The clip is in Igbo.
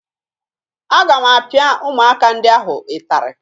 Aga m apịa ụmụaka ndị ahụ ịtarị